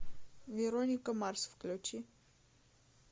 вероника марс включи